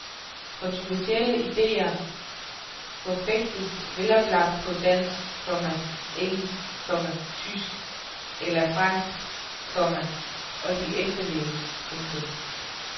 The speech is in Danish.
Kontroversielle idéer forfægtes veloplagt på dansk, komma engelsk, komma tysk eller fransk, komma og de efterleves. punktum